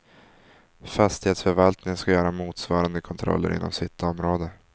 Fastighetsförvaltningen ska göra motsvarande kontroller inom sitt område.